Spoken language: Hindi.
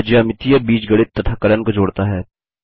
यह ज्यामिती बीजगणित तथा कलन को जोड़ता है